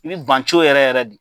Ni banto yɛrɛ yɛrɛ don.